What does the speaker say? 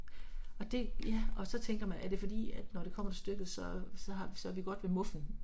Og det ja, og så tænker man er det fordi at når det kommer til stykket så så har så er vi godt ved muffen